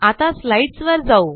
आता स्लाईडसवर जाऊ